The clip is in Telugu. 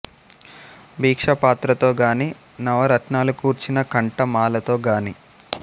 భిక్షా పాత్రతొ గాని నవరత్నాలు కూర్చిన కంఠ మాలతొ గానీ